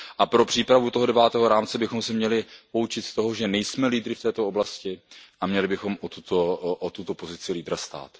Pro přípravu toho devátého rámce bychom se měli poučit z toho, že nejsme lídry v této oblasti, a měli bychom o tuto pozici lídra stát.